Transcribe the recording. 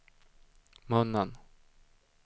munnen